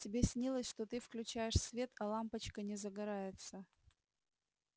тебе снилось что ты включаешь свет а лампочка не загорается